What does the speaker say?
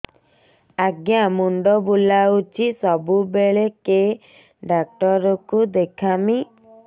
ଆଜ୍ଞା ମୁଣ୍ଡ ବୁଲାଉଛି ସବୁବେଳେ କେ ଡାକ୍ତର କୁ ଦେଖାମି